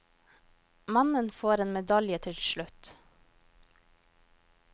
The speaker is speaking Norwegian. Mannen får en medalje til slutt.